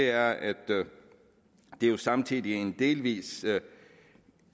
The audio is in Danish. er at det jo samtidig er en delvis